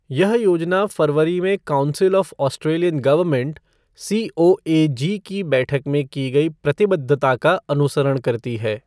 यह योजना फ़रवरी में council of Australian government, COAG की बैठक में की गई प्रतिबद्धता का अनुसरण करती है।